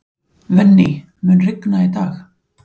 Venný, mun rigna í dag?